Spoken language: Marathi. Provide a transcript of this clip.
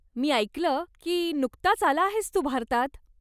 मी ऐकलं की नुकताच आला आहेस तू भारतात?